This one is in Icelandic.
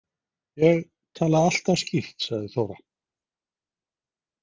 Ég tala alltaf skýrt, sagði Þóra.